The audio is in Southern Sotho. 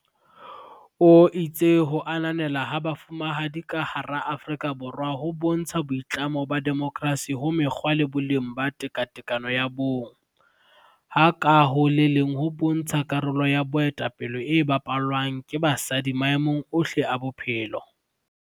O itse ho ananelwa ha Bo fumahadi ka hara Aforika Borwa ho bontsha boitlamo ba demokersi ho mekgwa le boleng ba tekatekano ya bong, ha ka ho le leng ho bontsha karolo ya boetape le e bapalwang ke basadi maemong ohle a bophelo.